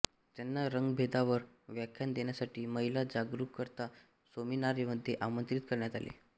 त्यांना रंगभेदावर व्याख्यान देण्यासाठी महिला जागरूकता सेमिनार मध्ये आमंत्रित करण्यात आले होते